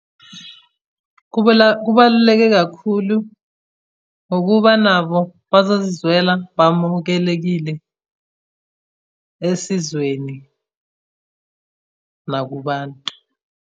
Kubaluleke kakhulu ngokuba nabo bazozizwela bamukelekile esizweni nakubantu.